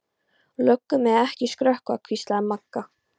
Löggur mega ekki skrökva, hvíslaði Magga.